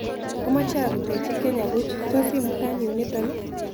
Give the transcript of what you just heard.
Amooche arutechii kenya buuch tos' imutan yuniton ii